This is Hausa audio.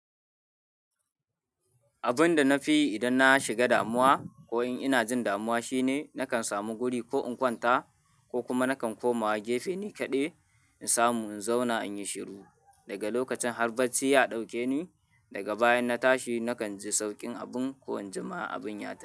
Abun da na fi yi idan na shiga damuwa ko in ina jin damuwa shine nakan samu guri ko in kwanta ko kuma nakan komawa gefe nikaɗai in samu in zauna in yi shiru. Daga lokacin har bacci ya ɗauke ni. Daga bayan na tashi nakan ji sauƙin abun ko in jima abin ya tashi.